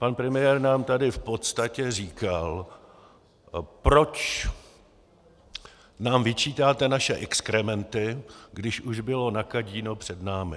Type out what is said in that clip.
Pan premiér nám tady v podstatě říkal: Proč nám vyčítáte naše exkrementy, když už bylo nakadíno před námi...